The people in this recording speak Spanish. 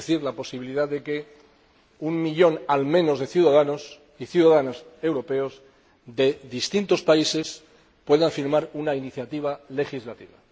Es decir, la posibilidad de que un millón al menos de ciudadanos y ciudadanas europeos de distintos países puedan firmar una iniciativa legislativa.